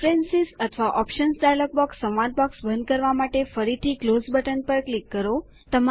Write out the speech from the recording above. preference અથવા options dialog box સંવાદ box બંધ કરવા માટે ફરીથી ક્લોઝ બટન પર ક્લિક કરો